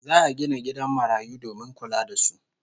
Za'a gina gidan marayu domin kula da su